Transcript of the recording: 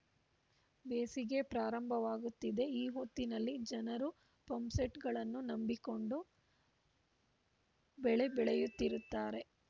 ಬೇಸಿಗೆ ಪ್ರಾರಂಭವಾಗುತ್ತಿದೆ ಈ ಹೊತ್ತಿನಲ್ಲಿ ಜನರು ಪಂಪ್‌ಸೆಟ್‌ಗಳನ್ನು ನಂಬಿಕೊಂಡು ಬೆಳೆ ಬೆಳೆಯುತ್ತಿರುತ್ತಾರೆ